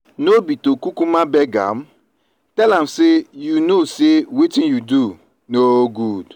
no be to kukuma beg am? tell am say you no say wetin you do no good.